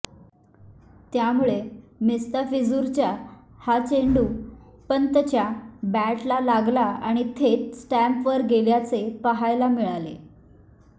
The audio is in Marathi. त्यामुळे मिस्ताफिझूरचा हा चेंडू पंतच्या बॅटला लागला आणि थेट स्टम्पवर गेल्याचे पाहायला मिळाले